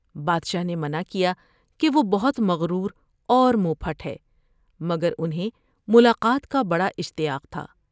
بادشاہ نے منع کیا کہ وہ بہت مغرور اور منہ پھٹ ہے مگر انھیں ملاقات کا بڑا اشتیاق تھا ۔